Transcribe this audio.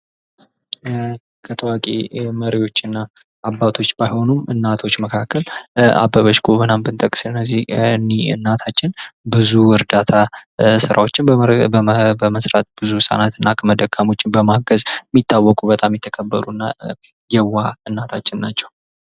ከታዋቂ መሪዎችና አባቶች ባይሆኑም እናቶች መካከል አበበች ጎበና ብንጠቅስ እኚ እናታችን ብዙ እርዳታ ሥራዎችን በመሥራት ብዙ ህጻናትን እና አቅመ ደካሞችን በማገዝ ሚታወቁ በጣም የተከበሩን የዋህ እናታቸው ናቸው።